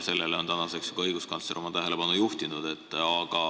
Nüüdseks on ka õiguskantsler sellele tähelepanu juhtinud.